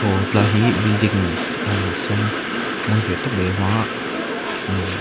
aw tilai hi building ahh sen mawi ve tak a awm a ahh--